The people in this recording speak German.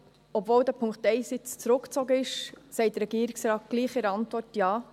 Obwohl der Punkt 1 nun zurückgezogen ist, sagt der Regierungsrat in der Antwort gleichwohl Ja.